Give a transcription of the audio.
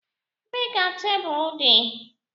Ebee ka tebụl dị?